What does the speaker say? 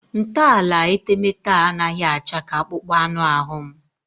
Ntọala etemeete a anaghị acha ka akpụkpọ anụ ahụ m